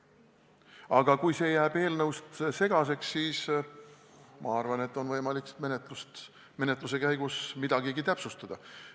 Aga kui see kõik jääb eelnõust segaseks, siis ma arvan, et menetluse käigus on võimalik veel midagi täpsustada.